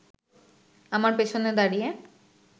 আমার পেছনে দাঁড়িয়ে